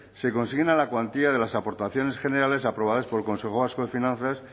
se consigna la cuantía de las aportaciones generales aprobadas por el consejo vasco de finanzas